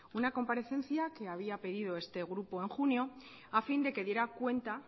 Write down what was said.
una comparecencia que había pedido este grupo en junio a fin de que diera cuenta